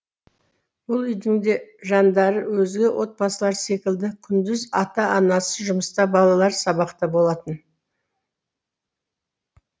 бұл үйдің де жандары өзге отбасылар секілді күндіз ата анасы жұмыста балалары сабақта болатын